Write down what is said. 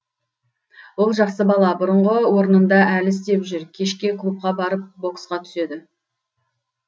ол жақсы бала бұрынғы орнында әлі істеп жүр кешке клубқа барып боксқа түседі